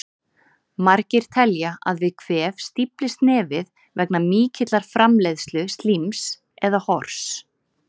Margir telja að við kvef stíflist nefið vegna mikillar framleiðslu slíms, eða hors.